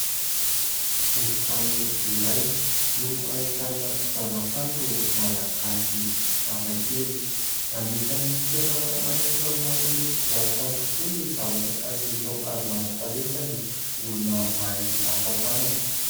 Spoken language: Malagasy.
Efitrano iray no ahitana zava-kanto malagasy hafakely. Anisan'ny tena manintona ny mason'ny mpizahatany tokoa ny zavatra tahaka izao ary manan-talenta ny olona mahay asa tanana.